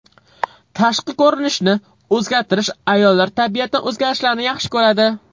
Tashqi ko‘rinishni o‘zgartirish Ayollar tabiatan o‘zgarishlarni yaxshi ko‘radi.